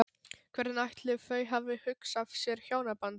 Hvernig ætli þau hafi hugsað sér hjónabandið?